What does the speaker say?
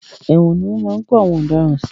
Ẹ̀wòn ni wọ́n máa ń kó àwọn ọ̀daràn sí.